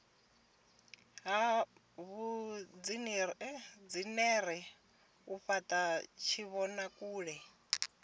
ha vhuinzhinere u fhata tshivhonakule